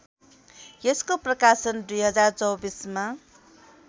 यसको प्रकाशन २०२४ मा